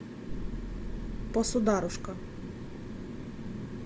посударушка